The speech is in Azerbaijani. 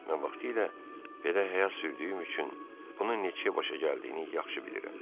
Mən vaxtilə belə həyat sürdüyüm üçün bunun neçəyə başa gəldiyini yaxşı bilirəm.